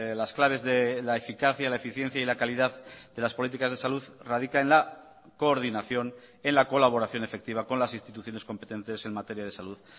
las claves de la eficacia la eficiencia y la calidad de las políticas de salud radica en la coordinación en la colaboración efectiva con las instituciones competentes en materia de salud